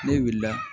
Ne wulila